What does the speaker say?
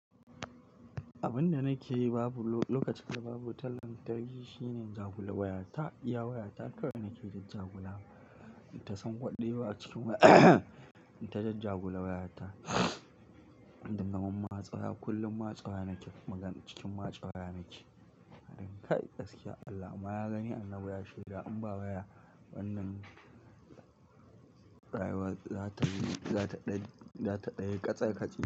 Abun da nake yi babu lokacin da babu wutan lantarki shine jagula wayata, iya wayata kawai nake ja-jagulawa. Inta san kwaɗayi ba a cikin waya, inta jajagula wayata. Idan na mammatsa waya kullum matsa waya nake magana cikin matsa waya nake. Kai gaskiya Allah ma ya gani annabi ya shaida in ba waya wannan driver za ta yi, za ta ɗai, za ta ɗai katse katse.